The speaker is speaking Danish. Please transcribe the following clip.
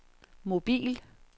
mobil